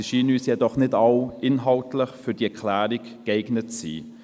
Sie scheinen uns jedoch nicht alle inhaltlich für diese Erklärung geeignet zu sein.